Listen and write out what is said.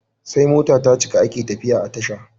Sai mota tacika ake tafiya a tasha